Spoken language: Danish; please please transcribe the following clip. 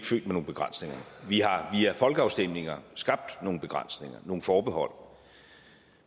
vi har via folkeafstemninger skabt nogle begrænsninger nogle forbehold